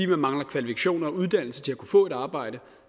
man mangler kvalifikationer og uddannelse til at kunne få et arbejde